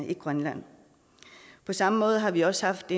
i grønland på samme måde har vi også haft